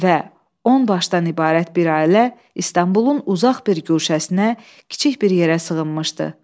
Və on başdan ibarət bir ailə İstanbulun uzaq bir guşəsinə, kiçik bir yerə sığınmışdı.